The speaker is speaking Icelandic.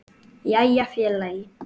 Jæja félagi!